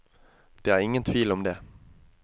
Det er ingen tvil om det.